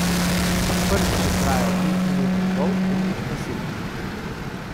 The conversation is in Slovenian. Prvič je trajal pet minut in pol, drugič pa sedem minut.